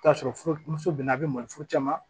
T'a sɔrɔ muso bɛna a bɛ malo furu caman